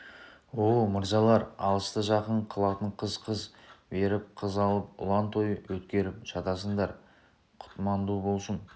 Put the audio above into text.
оуо мырзалар алысты жақын қылатын қыз қыз беріп қыз алып ұлан той өткеріп жатасыңдар құтманду болсун